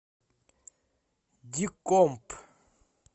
дикомп